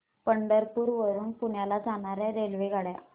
पंढरपूर वरून पुण्याला जाणार्या रेल्वेगाड्या